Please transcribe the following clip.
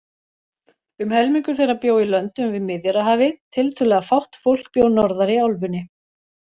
Um helmingur þeirra bjó í löndum við Miðjarðarhafið, tiltölulega fátt fólk bjó norðar í álfunni.